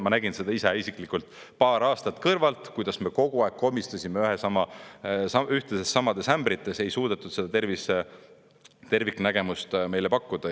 Ma nägin seda ise isiklikult paar aastat kõrvalt, kuidas me kogu aeg komistasime ühtlaselt samades ämbrites, ei suudetud seda terviknägemust meile pakkuda.